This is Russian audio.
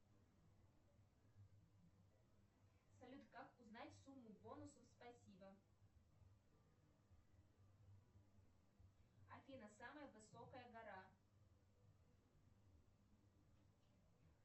салют как узнать сумму бонусов спасибо афина самая высокая гора